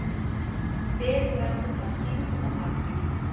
Bið fram að síld og makríl